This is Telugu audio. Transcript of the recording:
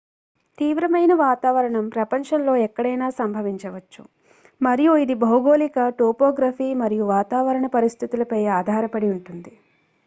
తీవ్రమైన వాతావరణం ప్రపంచంలో ఎక్కడైనా సంభవించవచ్చు మరియు ఇది భౌగోళిక టోపోగ్రఫీ మరియు వాతావరణ పరిస్థితులపై ఆధారపడి ఉంటుంది